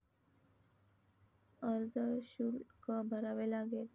अर्जशुल्क भरावे लागेल.